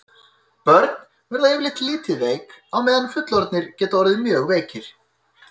Börn verða yfirleitt lítið veik á meðan fullorðnir geta orðið mjög veikir.